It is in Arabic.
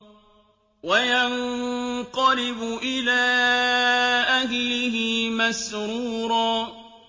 وَيَنقَلِبُ إِلَىٰ أَهْلِهِ مَسْرُورًا